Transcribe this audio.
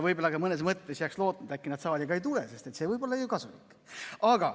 Võib-olla ka mõnes mõttes jääks lootma, et äkki nad saali ka ei tule, sest see võib olla ju kasulik.